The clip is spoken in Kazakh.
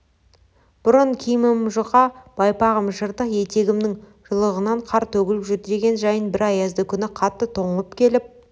бұрын киімім жұқа байпағым жыртық етігімнің жұлығынан қар төгіліп жүр деген жайын бір аязды күні қатты тоңып келіп